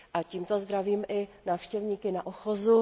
Tímto zdravím i návštěvníky na ochozu.